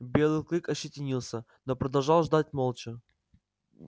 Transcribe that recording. белый клык ощетинился но продолжал ждать молча